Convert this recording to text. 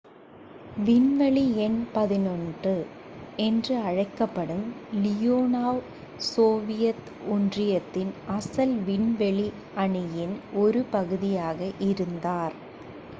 """விண்வெளி எண் 11" என்றும் அழைக்கப்படும் லியோனோவ் சோவியத் ஒன்றியத்தின் அசல் விண்வெளி அணியின் ஒரு பகுதியாக இருந்தார்.